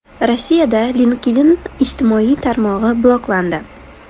Rossiyada LinkedIn ijtimoiy tarmog‘i bloklandi.